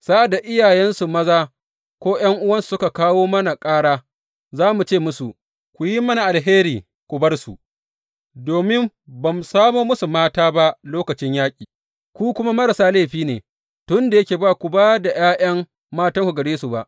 Sa’ad da iyayensu maza ko ’yan’uwansu suka kawo mana ƙara, za mu ce musu, Ku yi mana alheri ku bar su, domin ba mu samo musu mata ba lokacin yaƙi, ku kuma marasa laifi ne, tun da yake ba ku ba da ’ya’yan matanku gare su ba.’